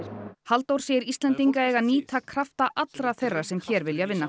Halldór segir Íslendinga eiga að nýta krafta allra þeirra sem hér vilja vinna